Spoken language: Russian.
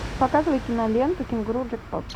показывай киноленту кенгуру джекпот